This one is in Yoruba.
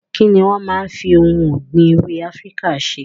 Kini wọn máa ń fi ohun ọ̀gbìn èwe Afíríkà ṣe?